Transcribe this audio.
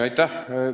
Aitäh!